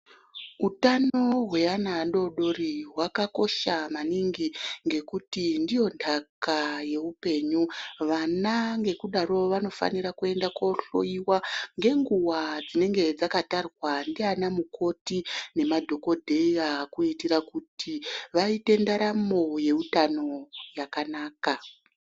Utano hwrana adodori hwakakosha maningi ngekuti ndiyo ntaka yeupenyu vana ngekudaro vanofanira kuenda kohloiwa ngenguwa dzinenge dzakatarwa ndiana mukoti nema dhokodheya kuitira kuti vaite ndaramo yeutano takanaka.